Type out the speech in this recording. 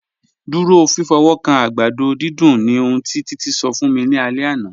Dúró fífọ́wọ́kàn àgbàdọ̀ dídùn ni ọ̀hun tí Títí ṣọ̀ fún mí ní àlẹ̀ àná.